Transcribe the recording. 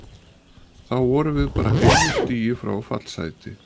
Þá vorum við bara einu stigi frá fallsæti.